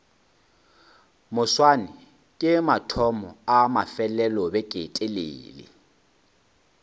moswane ke mathomo a mafelelobeketelele